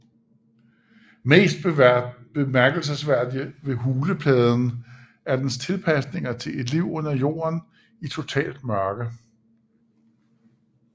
Mest bemærkelsesværdigt ved hulepadden er dens tilpasninger til et liv under jorden i totalt mørke